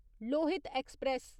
Lohit express